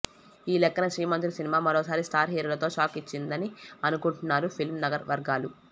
ఈ లెక్కన శ్రీమంతుడు సినిమా మరోసారి స్టార్ హీరోలకు షాక్ ఇచ్చిందని అనుకుంటున్నారు ఫిల్మ్ నగర్ వర్గాలు